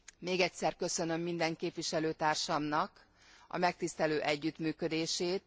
Még egyszer köszönöm minden képviselőtársamnak a megtisztelő együttműködését.